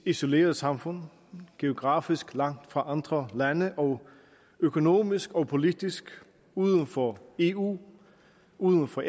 isoleret samfund geografisk langt fra andre lande og økonomisk og politisk uden for eu uden for